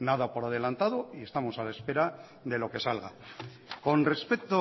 nada por adelantado y estamos a la espera de lo que salga con respecto